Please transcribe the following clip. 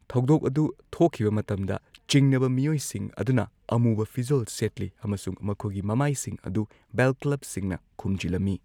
ꯊꯧꯗꯣꯛ ꯑꯗꯨ ꯊꯣꯛꯈꯤꯕ ꯃꯇꯝꯗ ꯆꯤꯡꯅꯕ ꯃꯤꯑꯣꯏꯁꯤꯡ ꯑꯗꯨꯅ ꯑꯃꯨꯕ ꯐꯤꯖꯣꯜ ꯁꯦꯠꯂꯤ ꯑꯃꯁꯨꯡ ꯃꯈꯣꯏꯒꯤ ꯃꯃꯥꯏꯁꯤꯡ ꯑꯗꯨ ꯕꯦꯜꯀ꯭ꯂꯕꯁꯤꯡꯅ ꯈꯨꯝꯖꯤꯜꯂꯝꯏ꯫